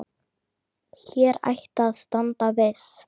Hér ætti að standa viss.